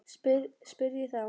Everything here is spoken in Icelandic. spyr ég þá.